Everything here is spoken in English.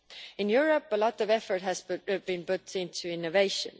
In Europe, a lot of effort has been put into innovation.